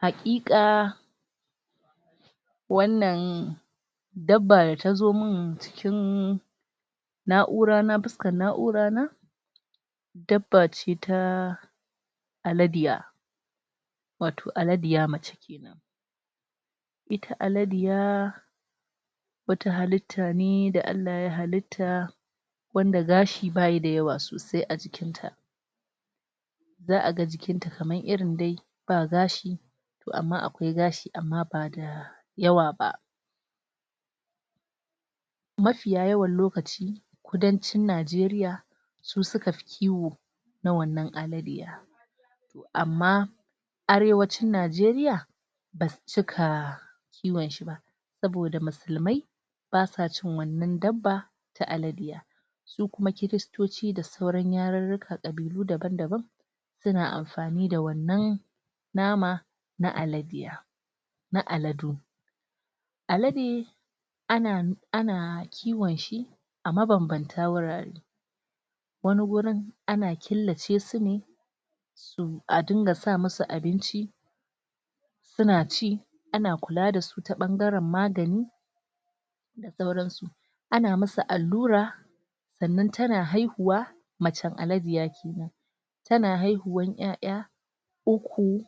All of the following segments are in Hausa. hakika wannan dabba da tazo man cikin na'ura na fuskar na'ura na dabba ce ta aladiya wato aladiya mace kenan ita aladiya halittane da Allah ya halitta wadda gashi baya da yawa sosai a jikint ta za aga jikin ta kamar irin dai ba gashi to amma akwai gashi amma ba da yawa ba mafiya yawan lokaci kudancin nageriya su suka fi kiwo na wannan aladiya amma arewacin najeriya ba su cika kiwon shiba saboda musulmai basa cin wannan dabba ta alade su kuma kiristoci da sauran yarika dabi'u daban daban suna amfani da wannan nama na aladiya na aladu alade ana kiwon shi a mabambantan wurare wani wurin ana kiblace sune a dinga sa masu abinci suna ci ana kula da su ta bangaren magani da sauransu anayi masu allura sannan tana haihuwa macen aladiya kennan tana haihuwan yaya ukku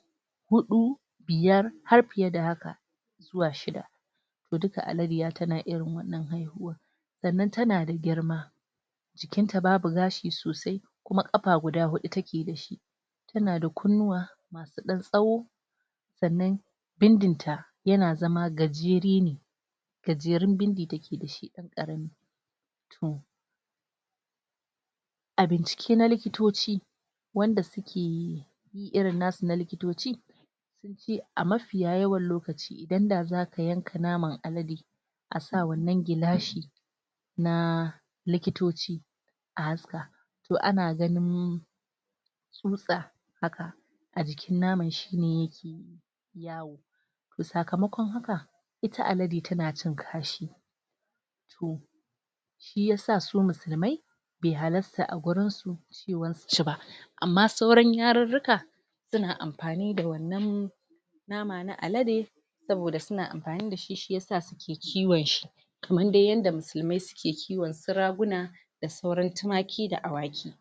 hudu biyar har fiyye da haka zuwa shidda duka aladiya tana irin wannan sannan tana da girma jikinta babu gashi sosai kuma kafa guda hudu take da shi tana da kunnuwa masu dan tsawo sannan bindinta yana zama gajere ne gajerun bindi take da shi a bincike na likitoci wanda sukeyi irin nasu na lokitaci a mafiya yawan lokaci idan da zaka yanka naman alade asa wannan gilashi na likitoci a haska to anaganin tsutsa haka a jikin naman shine yake yawo sakamakon haka ita alade tana cin kashi to shiya sa su musulmai bai halarta a barsu cewa suci ba amma sauran yarirrika suna amfani da wannan nama na alade saboda suna amfani da shi shiya sa suke kiwon shi kamar dai yadda musulmai suke kiwon su raguna da sauran tumaki da awaki